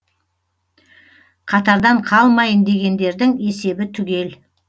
қатардан қалмайын дегендердің есебі түгел